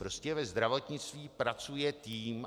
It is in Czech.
Prostě ve zdravotnictví pracuje tým.